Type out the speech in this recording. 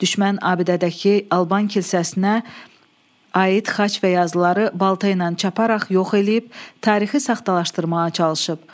Düşmən abidədəki Alban kilsəsinə aid xaç və yazıları balta ilə çaparaq yox eləyib, tarixi saxtalaşdırmağa çalışıb.